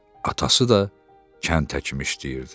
Atası da kənd əkmək işləyirdi.